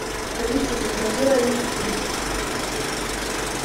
алиса закажи оливки